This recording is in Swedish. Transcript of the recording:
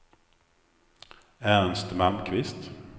Ernst Malmqvist